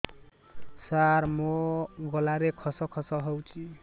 ସାର ମୋ ଗଳାରେ ଖସ ଖସ ହଉଚି